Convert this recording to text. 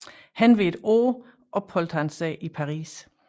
Henved et år opholdt han sig i Paris